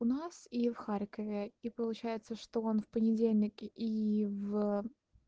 у нас и в харькове и получается что он в понедельник и в